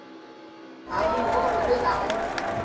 ha muholo we a u